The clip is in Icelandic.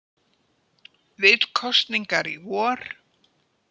Vill kosningar í vor